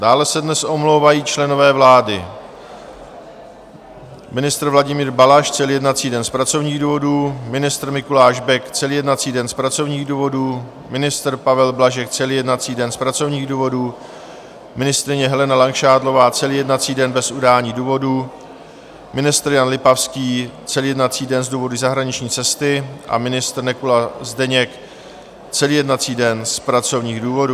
Dále se dnes omlouvají členové vlády: ministr Vladimír Balaš celý jednací den z pracovních důvodů, ministr Mikuláš Bek celý jednací den z pracovních důvodů, ministr Pavel Blažek celý jednací den z pracovních důvodů, ministryně Helena Langšádlová celý jednací den - bez udání důvodu, ministr Jan Lipavský celý jednací den z důvodu zahraniční cesty a ministr Nekula Zdeněk celý jednací den z pracovních důvodů.